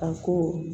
A ko